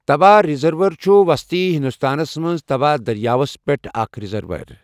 توا ریزروائر چھُ وسطی ہندوستانَس منٛز توا دٔریاوَس پٮ۪ٹھ اکھ ریزروائر۔